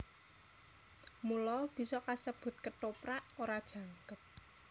Mula bisa kasebut Kethoprak ora jangkep